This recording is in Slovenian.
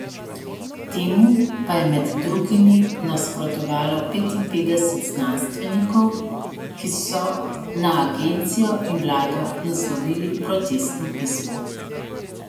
Temu pa je med drugimi nasprotovalo petinpetdeset znanstvenikov, ki so na agencijo in vlado naslovili protestno pismo.